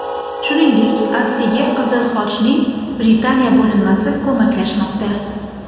Shuningdek, aksiyaga Qizil Xochning Britaniya bo‘linmasi ko‘maklashmoqda.